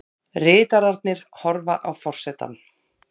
Ritararnir horfa á forsetann.